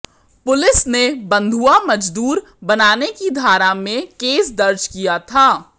police ने बंधुआ मजदूर बनाने की धारा में केस दर्ज किया था